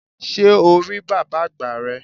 Sé o rí bàbá àgbà rẹ?